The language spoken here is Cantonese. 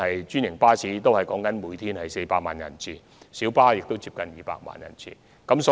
專營巴士每天服務400萬人次，而小巴亦服務近200萬人次。